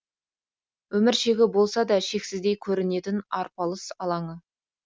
өмір шегі болса да шексіздей көрінетін арпалыс алаңы